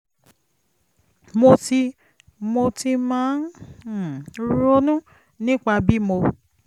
mo ti mo ti máa ń um ronú nípa bí mo